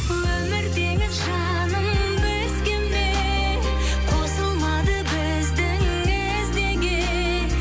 өмір теңіз жаным бізге ме қосылмады біздің із неге